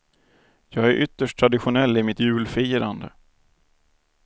Jag är ytterst traditionell i mitt julfirande.